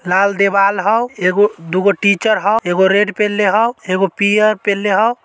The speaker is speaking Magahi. लाल दीवाल हौ। एगो दुगो टीचर हौ एगो रेड पेंहलें हौ एगो पियर पेंहले हौ।